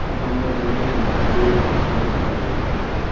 Ammo bunday emas, bu yer shunchaki chiroyli”.